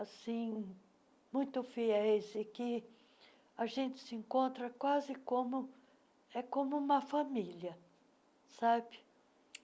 assim, muito fiéis e que a gente se encontra quase como, é como uma família, sabe?